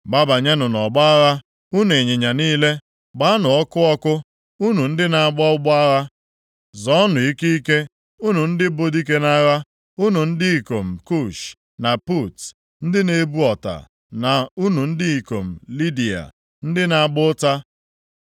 Gbabanyenụ nʼọgbọ agha, unu ịnyịnya niile. Gbanụ ọkụ ọkụ, unu ndị na-agba ụgbọ agha. Zọọnụ ike ike, unu ndị bụ dike nʼagha, unu ndị ikom Kush na Put, ndị na-ebu ọta, na unu ndị ikom Lidiya ndị na-agba ụta.